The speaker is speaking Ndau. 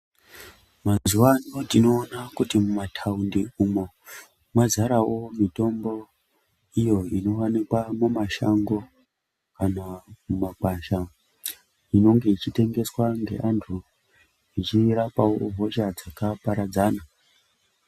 Mazuwa ano tinoona kuti kumataundi umwo mwazarawo mitombo iyo inowanikwa mumashango kana mumagwasha inonge yechitengeswa ngeantu ichirapawo hosha dzakaparadzana.